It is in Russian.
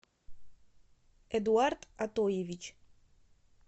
эдуард атоевич